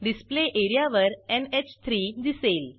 display एरियावर NH three दिसेल